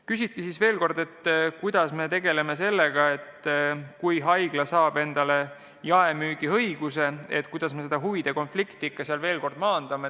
Küsiti veel kord, et kui haigla saab endale jaemüügiõiguse, siis kuidas me tekkivat huvide konflikti ikkagi maandame.